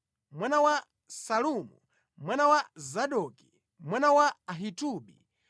mwana wa Salumu, mwana wa Zadoki, mwana wa Ahitubi,